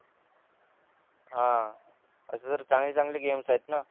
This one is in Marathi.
ह असे तर चांगले चांगले गेम्स आहेत ना